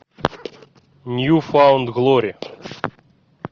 нью фаунд глори